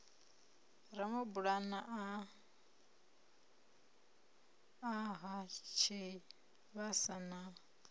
ramabulana a ha tshivhasa na